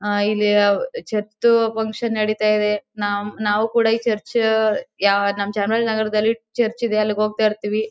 ಇಲ್ಲಿ church function ನಡೀತಾ ಇದೆ .ನಾವು ಕೂಡ ಈ ಚರ್ಚ್ ನಮ್ಮ ಚಾಮರಾಜನಗರದಲ್ಲಿ ಚರ್ಚ್ ಇದೆ ಅಲ್ಲಿಗೆ ಹೋಗ್ತಾಇರ್ತಿವಿ.